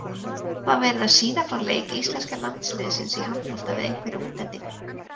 Það var verið að sýna frá leik íslenska landsliðsins í handbolta við einhverja útlendinga.